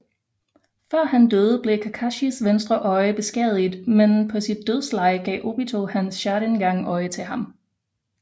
Før han døde blev Kakashis venstre øje beskadiget men på sit dødsleje gav Obito hans Sharingan øje til ham